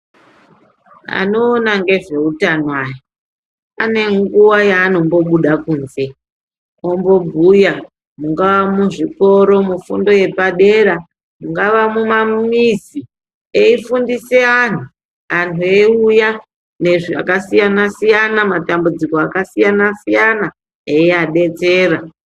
Anoona ngezveutano aya ane nguwa yaanombobuda kunze, ombobhuya mungaa muzvikoro, mufundo yepadera, mungava mumamizi, eifundise anhu, anhu eiuya nezvakasiyana siyana, matambudziko akasiyana siyana eiyabetsera.